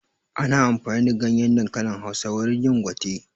Ana amfani da ganyen dankalin Hausa wurin yin gwate